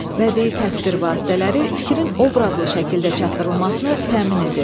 Bədii təsvir vasitələri fikrin obrazlı şəkildə çatdırılmasını təmin edir.